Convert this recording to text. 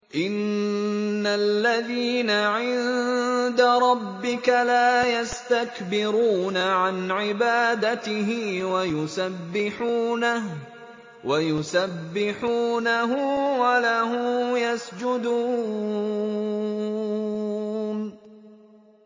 إِنَّ الَّذِينَ عِندَ رَبِّكَ لَا يَسْتَكْبِرُونَ عَنْ عِبَادَتِهِ وَيُسَبِّحُونَهُ وَلَهُ يَسْجُدُونَ ۩